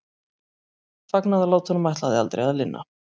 Fagnaðarlátunum ætlaði aldrei að linna.